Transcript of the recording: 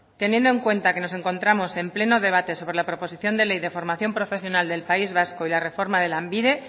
teniendo en cuenta que nos encontramos en pleno debate sobre la proposición de ley de formación profesional del país vasco y la reforma de lanbide